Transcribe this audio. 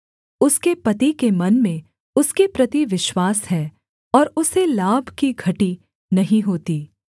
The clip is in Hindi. उसके पति के मन में उसके प्रति विश्वास है और उसे लाभ की घटी नहीं होती